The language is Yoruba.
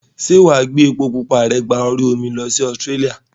Ṣé wàá gbé epo pupa rẹ gba orí omi lọ sí Australia?